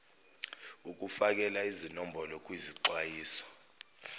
ukufakela izinombolo kwizixwayiso